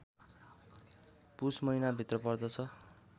पुष महिनाभित्र पर्दछ